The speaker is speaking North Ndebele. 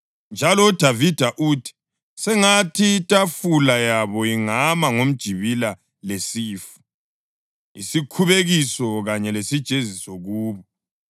Njalo uDavida uthi: “Sengathi itafula yabo ingaba ngumjibila lesifu, isikhubekiso kanye lesijeziso kubo.